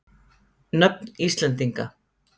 Nöfn Íslendinga.